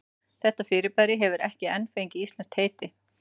Þetta fyrirbæri hefur ekki enn fengið íslenskt heiti.